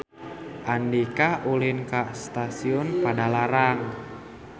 Andika ulin ka Stasiun Padalarang